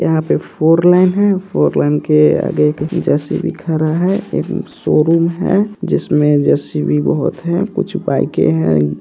यहाँ पर four lane है | लेन के आगे एक जे.सी.बी. खड़ा है |एक शोरूम है जिसमे जे.सी.बी. बहुत है | कुछ बाइके हैं |